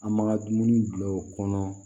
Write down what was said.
An b'an ka dumuni bila o kɔnɔ